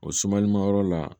O sumalimayɔrɔ la